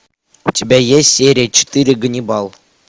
у тебя есть серия четыре ганнибал